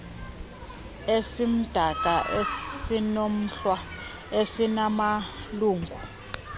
esimdaka esinomhlwa esinamalungu